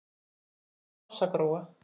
Þín systir Ása Gróa.